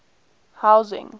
housing